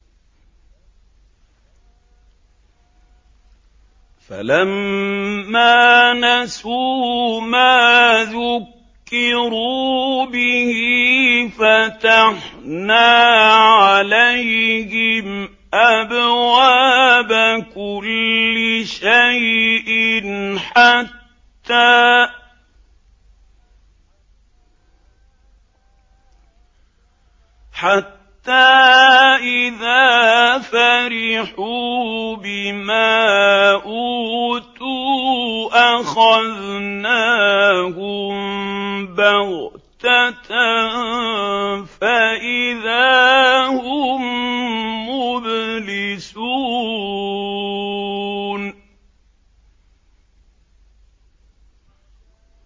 فَلَمَّا نَسُوا مَا ذُكِّرُوا بِهِ فَتَحْنَا عَلَيْهِمْ أَبْوَابَ كُلِّ شَيْءٍ حَتَّىٰ إِذَا فَرِحُوا بِمَا أُوتُوا أَخَذْنَاهُم بَغْتَةً فَإِذَا هُم مُّبْلِسُونَ